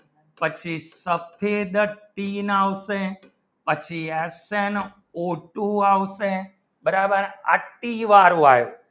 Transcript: પછી સબલિત તીન આવશે પછી એસ્ટ્રેન આવશે બરાબર હા તિન વાર આયો